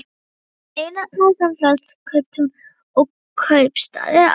Eyrarnar, sem flest kauptún og kaupstaðir á